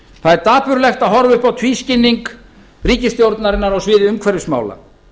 það er dapurlegt að horfa upp á tvískinnung ríkisstjórnarinnar á sviði umhverfismála